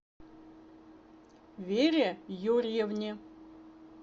вере юрьевне